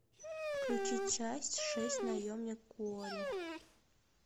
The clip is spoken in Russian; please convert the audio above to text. включи часть шесть наемник куорри